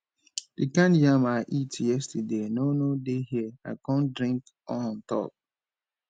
the kind yam i eat yesterday no no dey here i come drink on top